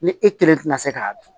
Ni e kelen tɛna se k'a dun